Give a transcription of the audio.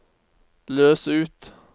løs ut